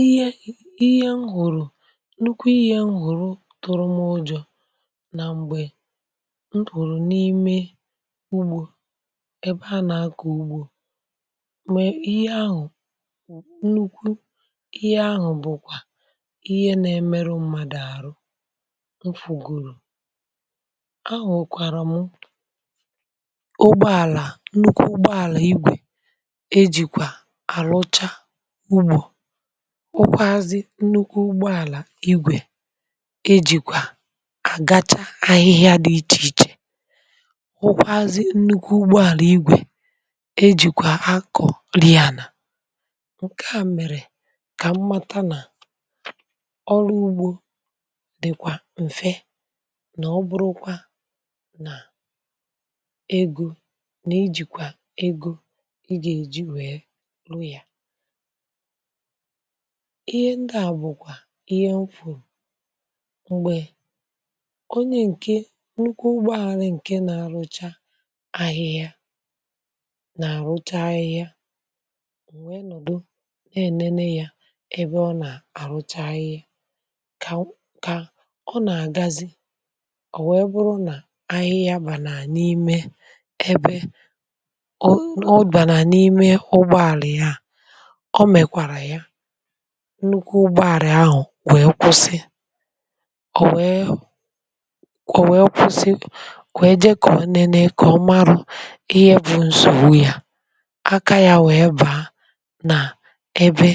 Ihe ihe m hụrụ̀ nnukwu ihe m hụrụ̀ tụrụ m ụjọ̀ na mgbe m pụrụ n’ime ugbȯ ebe a na-akọ̀ ugbȯ ma ihe ahụ̀ nnukwu ihe ahụ̀ bụkwa ihe na-emeru mmadụ̀ arụ̀ mfụ̀ gụ̀rụ̀, ahụ̀kwarà mụ̀ ụgbọalà nnukwu ụgbọalà igwè ejikwà àrụcha ụgbọ, hụkwazị nnukwu ụgbọàlà igwè ejìkwà àgacha ahịhịa dị ịchè ịchè, hụkwazị nnukwu ụgbọàlà igwè ejìkwà akọ̀ ri ànà ǹkè a mèrè kà m̀mata nà ọrụ ugbȯ dị̀kwà m̀fe nà ọ bụrụkwa nà egȯ nà ejìkwà egȯ ị gà-èji wèe ru ya. Ihe ndi à bụ̀kwà ihe fùrù m̀gbè onye ǹke nnukwu ụgbọàla ǹke nà-àrụcha ahịhịa nà-àrụcha ahịhịa wee nọ̀dụ na-ènene ya ebe ọ nà-àrụcha ahịhịa kà kà ọ nà-àgazị ọ̀ nwèe bụrụ nà-ahịhịa bànà n’ime ebe ọ ọ bànà n'’ime ụgbọàla ha, ọ mekwara ya nnukwu ụgbọàla ahụ̀ wèe kwụsị ọ̀ wèe ọ̀ wèe kwụsị wèe je ka ọ nene kà ọ marụ ihe bụ̇ nsògbu yà aka yȧ wèe bàa nà-ebe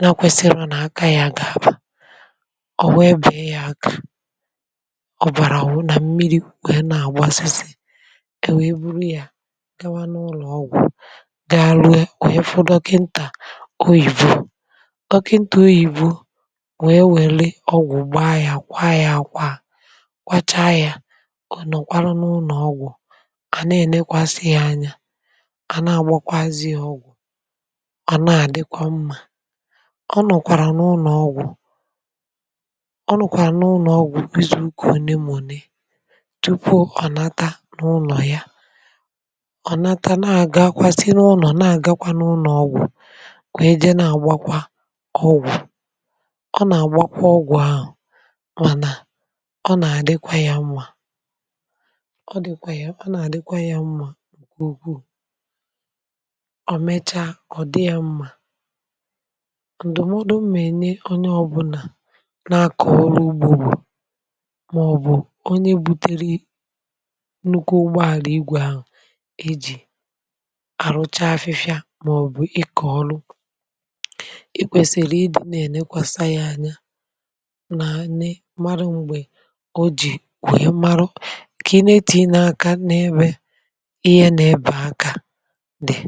na kwesiri nà aka yȧ gà-àbà, ọ̀ wee bee yȧ aka ọ̀ bàrà wụ nà mmiri̇ wèe na-àgbasịsị e wèe buru yȧ gawa n’ụlọ̀ ọgwụ̀ ga rụe wèe fu dọkịntà oyìbo dọ̀kịntà oyìbo wee wèle ọ̀gwụ̀ gbaa ya kwaa ya àkwaa kwa cha ya ọ̀ nọ̀kwara n’ụnọ̀ ọgwụ̀ à na-ènekwasịghị̇ anya, a na-àgbakwazị ya ọ̀gwụ̀, ọ̀ na-àdịkwa mmȧ, ọ nọ̀kwàrà n’ụnọ̀ ọgwụ̀ ọ nọ̀kwàrà n’ụnọ̀ ọgwụ̀ izù uka onè m̀a onè tupu ọ̀nata n’ụnọ̀ ya, ọ̀nata na-àgakwa si n’ụnọ̀ na-àgakwa n’ụnọ̀ ọgwụ̀ wee jee nà-àgbakwa ọgwụ̀. Ọ na-agba kwa ogwu ahụ̀ mànà ọ nà-àdịkwa ya mmȧ ọ dịkwa ya ọ nà-àdịkwa ya mmȧ nke ukwuù, ọ̀ mechaa ọ̀ dị ya mmȧ. Ǹdụ̀mọdụ m̀a enye onye ọbụlà na-akọ̀ ọrụ ugbo bụ màọbụ̀ onye butere nnukwu ụgbọ àlà igwè ahụ̀ eji̇ àrụcha afịfịa màọbụ̀ ịkọ̀ ọrụ ikwèsị̀rị̀ ịdị̇ na-ènekwàsa ya anya n’anị marụ mgbè o ji kwe marụ kà ineti n’aka n’ebe ihe n’ebe aka dị̀.